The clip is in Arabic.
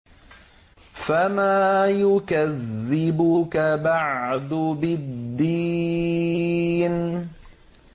فَمَا يُكَذِّبُكَ بَعْدُ بِالدِّينِ